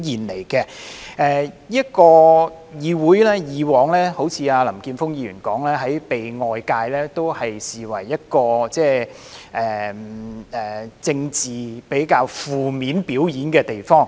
正如林健鋒議員所說，議會以往被外界視為一個在政治上進行較為負面的表演的地方。